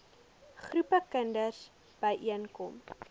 groepe kinders byeenkom